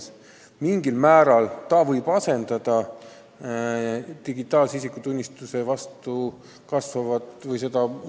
See võib mingil määral asendada digitaalset isikutunnistust, vähendada huvi selle vastu.